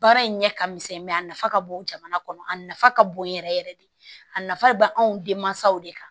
Baara in ɲɛ ka misɛn mɛ a nafa ka bon jamana kɔnɔ a nafa ka bon yɛrɛ yɛrɛ de a nafa bɛ anw denmansaw de kan